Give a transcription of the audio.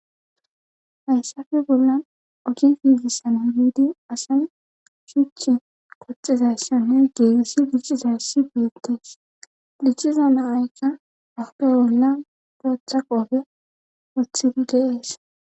Hayssafe bollan ogi fiizissana wiidi asani shuchi qoxizayssanne geegissi diccizayssi beyettees dicciza naayka afupe bolla gootha qoofe othiri geees.